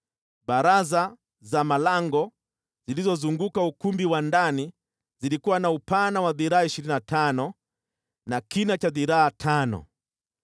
(Baraza za malango zilizozunguka ukumbi wa ndani zilikuwa na upana wa dhiraa ishirini na tano na kina cha dhiraa tano.)